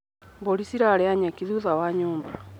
Mbũri cirarĩa nyeki thutha wa nyũmba.